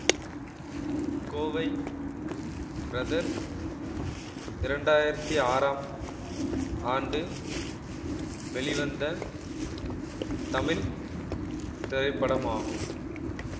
Kovai brothers இரண்டு ஆயிரத்தி ஆறாம் ஆண்டு வெளிவந்த தமிழ் திரைப்படமாகும்